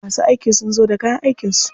Masu aiki sun zo da kayan aikin su.